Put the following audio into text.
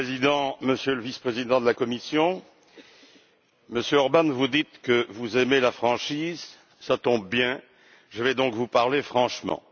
Monsieur le Président, Monsieur le Vice président de la Commission, Monsieur Orbán, vous dites que vous aimez la franchise, cela tombe bien, je vais donc vous parler franchement.